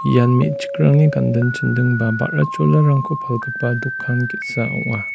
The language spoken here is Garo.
ian me·chikrangni ganding chinding ba ba·ra cholarangko palgipa dokan ge·sa ong·a.